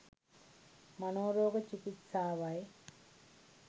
මනෝ රෝග චිකිත්සාවයි.